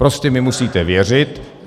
Prostě mi musíte věřit.